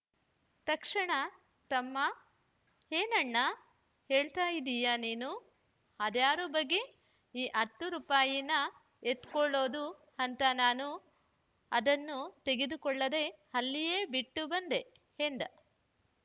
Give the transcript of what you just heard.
ತಕ್ಷಣ ತಮ್ಮ ಏನಣ್ಣಾ ಹೇಳ್ತಾ ಇದೀಯ ನೀನು ಅದ್ಯಾರು ಬಗ್ಗಿ ಆ ಹತ್ತು ರೂಪಾಯಿನ ಎತ್ತಿಕೊಳ್ಳೋದು ಅಂತ ನಾನು ಅದನ್ನು ತೆಗೆದುಕೊಳ್ಳದೆ ಅಲ್ಲಿಯೇ ಬಿಟ್ಟು ಬಂದೆ ಎಂದ